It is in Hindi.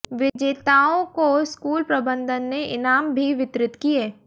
विजेताओं को स्कूल प्रबंधन ने इनाम भी वितरित किए